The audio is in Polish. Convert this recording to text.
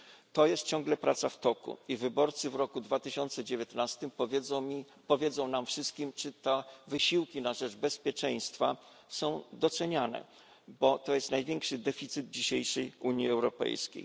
To jest ciągle praca w toku i wyborcy w roku 2019 powiedzą nam wszystkim, czy te wysiłki na rzecz bezpieczeństwa są doceniane, bo to jest największy deficyt dzisiejszej Unii Europejskiej.